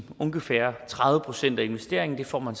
ungefær tredive procent af investeringen får man